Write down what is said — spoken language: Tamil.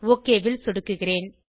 ஒக் ல் சொடுக்குகிறேன்